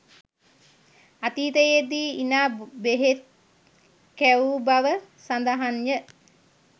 අතීතයේ දී ඉනා බෙහෙත් කැවූ බව සඳහන්ය